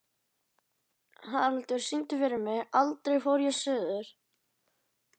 Haraldur, syngdu fyrir mig „Aldrei fór ég suður“.